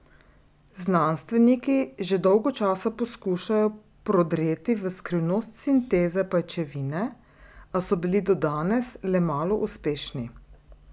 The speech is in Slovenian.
Znanstveniki že dolgo časa poskušajo prodreti v skrivnost sinteze pajčevine, a so bili do danes le malo uspešni.